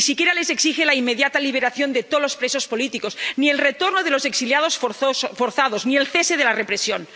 Ni siquiera les exige la inmediata liberación de todos los presos políticos, ni el retorno de los exiliados forzados, ni el cese de la represión.